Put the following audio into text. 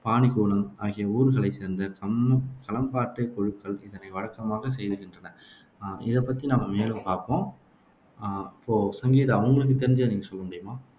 பானிக்குளம் ஆகிய ஊர்களைச் சேர்ந்த கம்மம் களம்பாட்டு குழுக்கள் இதனை வழக்கமாகச் செய்துவருகின்றன இதை பத்தி நம்ம மேலும் பாப்போம் அஹ் அப்போ சங்கீதா உங்களுக்கு தெரிஞ்சதை நீங்க சொல்ல முடியுமா